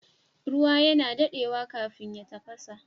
Ruwa yana dadewa kafin ya tafasa